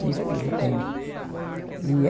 Seis filho eu tenho. E